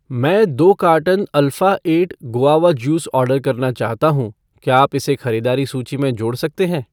मैं दो carton alpha eight guava juice order करना चाहता हूँ , क्या आप इसे खरीदारी सूची में जोड़ सकते हैं?